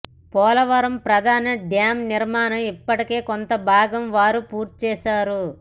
పోలవరం ప్రధాన డ్యామ్ నిర్మాణం ఇప్పటికే కొంతభాగం వారు పూర్తిచేశారు